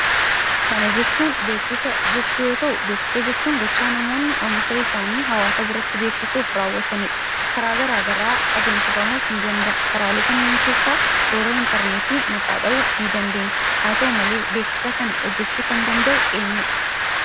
Kana jechuun beeksisa jechuu yoo ta'u, beeksisa jechuun gochaa namoonni Oomisha isaanii hawaasa biratti beeksisuuf rawwataniidha. Karaa garaagaraa adeemsifamuu ni danda'a. Karaalee kanneen keessaa, toora interneetii maqaa dha'uu ni dandeenya. Haa ta'u malee, beeksisa kana hojjechuu kan danda'u eenyuudha?